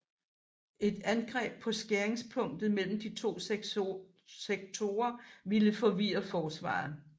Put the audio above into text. Et angreb på skæringspunktet mellem de to sektorer ville forvirre forsvaret